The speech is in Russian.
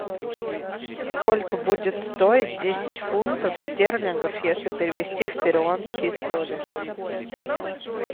сколько будет стоить десять фунтов стерлингов если перевести в перуанские соли